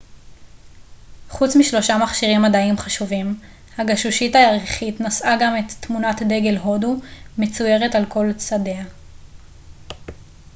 חוץ משלושה מכשירים מדעיים חשובים הגשושית הירחית נשאה גם את תמונת דגל הודו מצוירת על כל צדיה